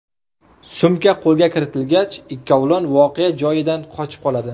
Sumka qo‘lga kiritilgach, ikkovlon voqea joyidan qochib qoladi.